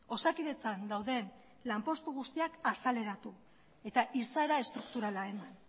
osakidetzan dauden lan postu guztiak azaleratu eta izaera estrukturala eman